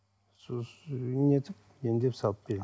нетіп емдеп салып беремін